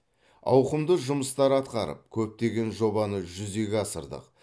ауқымды жұмыстар атқарып көптеген жобаны жүзеге асырдық